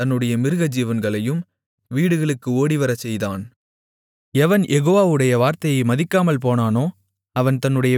எவன் யெகோவாவுடைய வார்த்தையை மதிக்காமல்போனானோ அவன் தன்னுடைய வேலைக்காரர்களையும் தன்னுடைய மிருகஜீவன்களையும் வெளியிலே விட்டுவிட்டான்